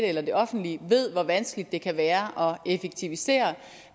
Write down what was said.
eller det offentlige ved hvor vanskeligt det kan være at effektivisere